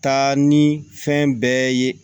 Taa ni fɛn bɛɛ ye